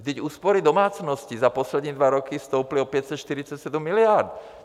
Vždyť úspory domácností za poslední dva roky stouply o 547 miliard.